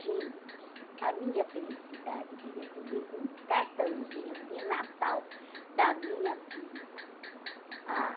Gente, a minha felicidade de receber um cartãozinho de Natal da minha tia. Ah